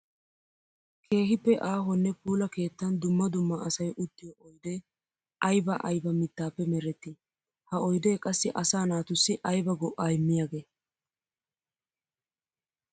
Keehippe aahonne puula keettan dumma dumma asay uttiyo oydde aybba aybba mittappe meretti? Ha oydde qassi asaa naatussi aybba go'a immiyage?